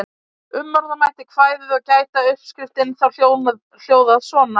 Umorða mætti kvæðið og gæti uppskriftin þá hljóðað svona: